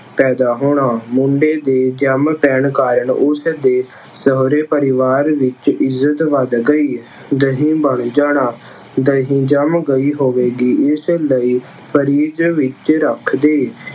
ਪੈਦਾ ਹੋਣਾ- ਮੁੰਡੇ ਦੇ ਜੰਮ ਪੈਣ ਕਾਰਨ ਉਸਦੇ ਸਹੁਰੇ ਪਰਿਵਾਰ ਵਿੱਚ ਇੱਜ਼ਤ ਵੱਧ ਗਈ । ਦਹੀ ਬਣ ਜਾਣਾ- ਦਹੀਂ ਜੰਮ ਗਈ ਹੋਵੇਗੀ। ਇਸ ਲਈ ਫਰਿੱਜ ਵਿੱਚ ਰੱਖ ਦੇ।